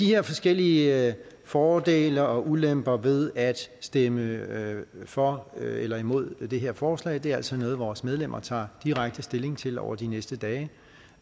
her forskellige fordele og ulemper ved at stemme for eller imod det her forslag er altså noget vores medlemmer tager direkte stilling til over de næste dage